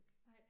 Nej